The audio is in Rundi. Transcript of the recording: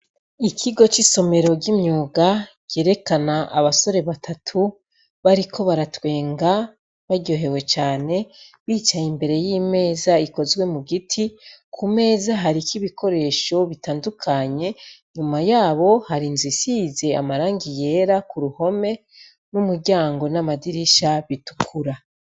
Ikigo c'isomero ry'imyuga ryerekana abasore batatu bariko baratwenga baryohewe cane bicaye imbere y'imeza ikozwe mu giti ku meza hariko ibikoresho bitandukanye inyuma yabo hari inzu isize amarangi yera ku ruhome n'umuryango n'amadirisha bitukura.